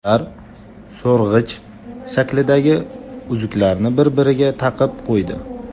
Ular so‘rg‘ich shaklidagi uzuklarni bir-biriga taqib qo‘ydi.